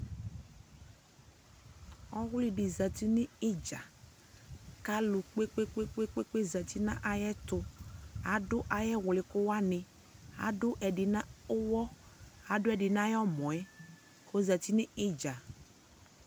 Ɔwlɩdɩ zati nɩ ɩdza: k'alʋ kpekpekpekpekpe zati na ayɛtʋ; adʋ ay'ɛwlɩkʋ wanɩ, adʋ ɛdɩ na ʋwɔ adʋɛdɩ n'ayɔmɔɛ k'ozati nʋ ɩdza